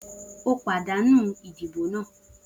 O pàdánù idibo náà!